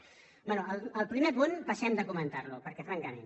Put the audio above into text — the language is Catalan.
bé el primer punt passem de comentar lo perquè francament